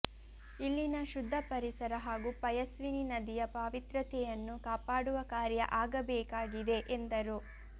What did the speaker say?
ಇಲ್ಲಿನ ಶುದ್ದ ಪರಿಸರ ಹಾಗೂ ಪಯಸ್ವಿನಿ ನದಿಯ ಪಾವಿತ್ರತೆಯನ್ನು ಕಾಪಾಡುವ ಕಾರ್ಯ ಆಗಬೇಕಾಗಿದೆ ಎಂದರು